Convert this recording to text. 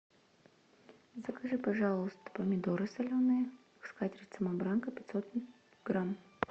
закажи пожалуйста помидоры соленые скатерть самобранка пятьсот грамм